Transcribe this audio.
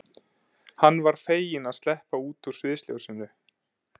Hann var feginn að sleppa út úr sviðsljósinu.